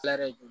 Tila jo